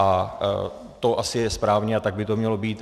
A to asi je správně a tak by to mělo být.